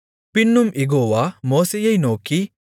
பின்னும் யெகோவா மோசேயை நோக்கி